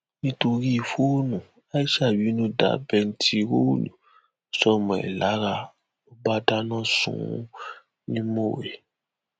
nítorí fóònù aisha bínú da bẹntiróòlù sọmọ ẹ lára ló bá dáná sun ún ní mọwé